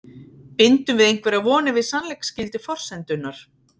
Bindum við einhverjar vonir við sannleiksgildi forsendunnar?